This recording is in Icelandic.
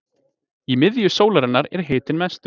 í miðju sólarinnar er hitinn mestur